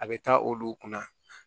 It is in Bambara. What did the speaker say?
A bɛ taa olu kunna